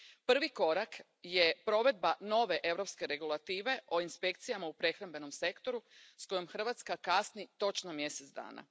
Prvi korak je provedba nove europske regulative o inspekcijama u prehrambenom sektoru s kojom Hrvatska kasni točno mjesec dana.